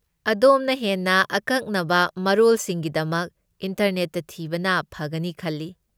ꯑꯗꯣꯝꯅ ꯍꯦꯟꯅ ꯑꯀꯛꯅꯕ ꯃꯔꯣꯜꯁꯤꯡꯒꯤꯗꯃꯛ ꯏꯟꯇꯔꯅꯦꯠꯇ ꯊꯤꯕꯅ ꯐꯒꯅꯤ ꯈꯜꯂꯤ꯫